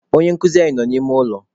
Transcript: Onye nkụzi anyị nọ n'ime ụlọ.